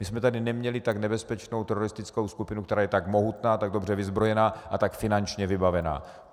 My jsme tady neměli tak nebezpečnou teroristickou skupinu, která je tak mohutná, tak dobře vyzbrojená a tak finančně vybavená.